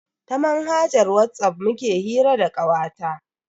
Ta manhajar Whatsapp muke hira da kawata.